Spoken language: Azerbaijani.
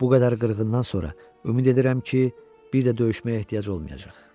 Bu qədər qırğından sonra ümid edirəm ki, bir də döyüşməyə ehtiyac olmayacaq.